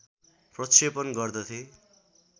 प्रक्षेपण गर्दथे